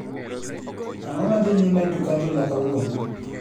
Ang'o madhi nyime etuk adhula kawuono